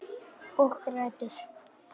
Og grætur.